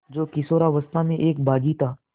जो किशोरावस्था में एक बाग़ी था